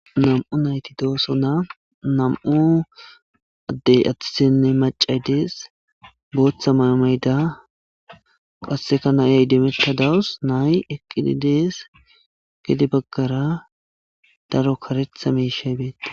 Nam'u nayti dooso nam'u addey adussenne macay dees booththa may'o mayda qasseka na'iya iddimeta dawus nay eqqidi dees gedde baggara daro kareththa miishshey beettes